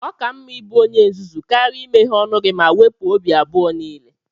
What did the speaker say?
Ọ ka mma ịbụ onye nzuzu karịa imeghe ọnụ gị ma wepụ obi abụọ niile.